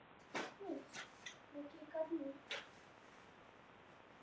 Hafði hann fengið Eggert húfu í Miðhúsum til að gæta búsins.